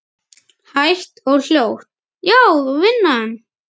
Hægt og hljótt, já vinan.